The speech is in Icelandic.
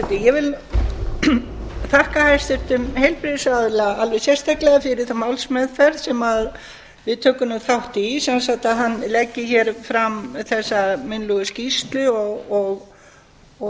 forseti ég vil þakka hæstvirtum heilbrigðisráðherra alveg sérstaklega fyrir þá málsmeðferð sem við tökum þátt í sem sagt að við leggjum fram þessa munnlegu skýrslu og